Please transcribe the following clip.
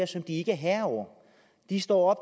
som de ikke er herrer over de står